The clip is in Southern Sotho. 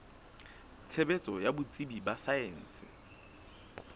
tshebetso ya botsebi ba saense